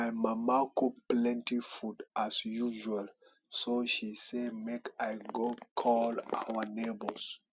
my mama cook plenty food as usual so she say make i go call our neighbours